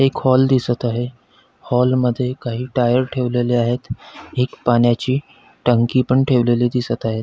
एक हॉल दिसत आहे हॉल मध्ये काही टायर ठेवलेले आहेत एक पाण्याची टंकी पण ठेवलेली दिसत आहेत.